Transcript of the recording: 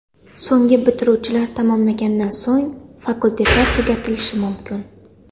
So‘nggi bitiruvchilar tamomlaganidan so‘ng, fakultetlar tugatilishi mumkin.